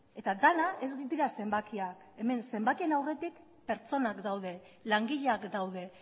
eta dena ez dira zenbakiak hemen zenbakien aurretik pertsonak daude langileak daude